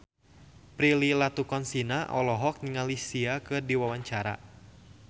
Prilly Latuconsina olohok ningali Sia keur diwawancara